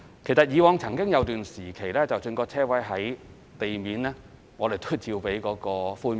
其實以往曾經有段時期，即使車位在地面，我們亦照樣批出寬免。